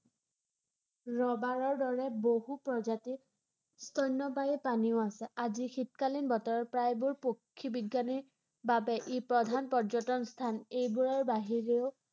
ৰবাৰৰ দৰে বহু প্ৰজাতিৰ স্তন্যপায়ী প্ৰাণীও আছে ৷ আজি শীতকালীন বতৰ প্ৰায়বোৰ পক্ষী বিজ্ঞানীৰ বাবে ই প্ৰধান পৰ্যটন স্থান ৷ এইবোৰৰ বাহিৰেও